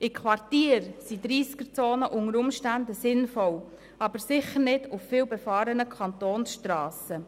In Quartieren sind Tempo-30-Zonen unter Umständen sinnvoll, aber sicher nicht auf vielbefahrenen Kantonsstrassen.